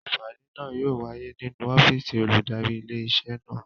Ìpàdé náà yóò wáyé nínú ọ́fìsì olùdarí ilé iṣẹ́ náà